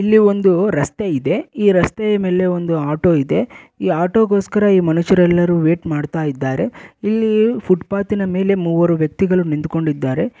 ಇಲ್ಲಿ ಒಂದು ರಸ್ತೆ ಇದೆ. ಈ ರಸ್ತೆಯ ಮೇಲೆ ಒಂದು ಆಟೋ ಇದೆ ಈ ಆಟೋ ಗೋಸ್ಕರ ಈ ಮನುಷ್ಯರೆಲ್ಲರು ವೇಟ್ ಮಾಡ್ತಾ ಇದ್ದಾರೆ ಇಲ್ಲೀ ಫುಟ್ ಪಾತ್ ನ ಮೇಲೆ ಮೂವರು ವ್ಯಕ್ತಿಗಳು ನಿಂತುಕೊಂಡಿದ್ದಾರೆ.